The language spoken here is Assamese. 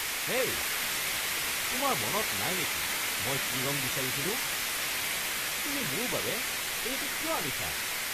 হেই, তোমাৰ মনত নাই নেকি মই কি ৰং বিচাৰিছিলোঁ? তুমি মোৰ বাবে এইটো কিয় আনিছা?